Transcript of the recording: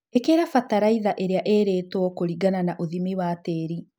Ikĩra bataraitha ĩria ĩrĩtwo kũringana na ũthimi wa tĩri.